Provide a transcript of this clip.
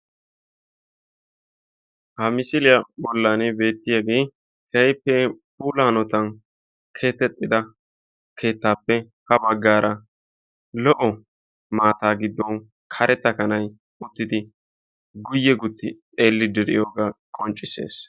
Ha misisliyaa bollan beettiyaagee keehippe puula hanotaan keexettida keettaappe ha baggaara lo"o maataa giddon karetta kanay zin"idi guye gutti xeelliidi de'iyoogaa qonccisses.